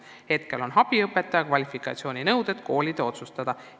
Praegu on abiõpetaja kvalifikatsiooninõuded koolide otsustada.